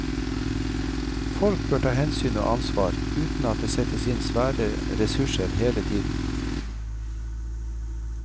Folk bør ta hensyn og ansvar uten at det settes inn svære ressurser hele tiden.